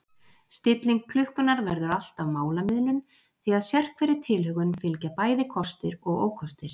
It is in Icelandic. Stilling klukkunnar verður alltaf málamiðlun því að sérhverri tilhögun fylgja bæði kostir og ókostir.